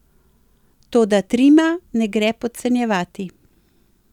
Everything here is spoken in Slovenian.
Toda Trima ne gre podcenjevati.